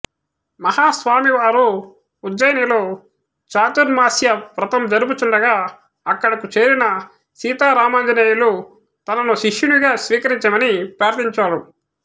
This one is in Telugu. మహాస్వామి వారు ఉజ్జయినిలో చాతుర్మాస్య వ్రతం జరుపుచుండగా అక్కడకు చేరిన సీతారామాంజనేయులు తనను శిష్యునిగా స్వీకరించమని ప్రార్థించాడు